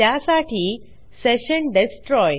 त्यासाठी session destroy